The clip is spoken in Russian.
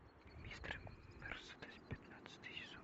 мистер мерседес пятнадцатый сезон